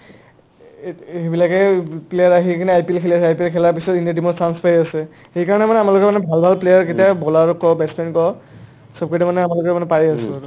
এহ্ এহ্ সেইবিলাকে প্লা~ player আহি কিনে IPL খেলি আছে IPL খেলাৰ পিছত ইণ্ডিয়াৰ team ত chance পায়ে আছে সেইকাৰণে মানে আমাৰ ভাল ভাল player কেইটা bowler ক , batch man ক চব কিতা মানে পায়ে আছো আৰু